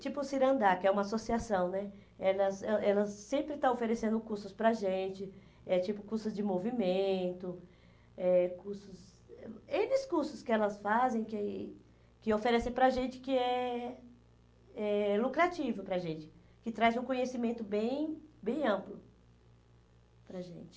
tipo o Cirandar, que é uma associação né, elas eh elas sempre estão oferecendo cursos para a gente, é tipo cursos de movimento, eh cursos, enes cursos que elas fazem, que que oferecem para a gente, que é é lucrativo para a gente, que traz um conhecimento bem bem amplo para a gente.